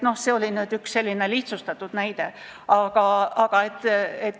See oli selline lihtsustatud näide.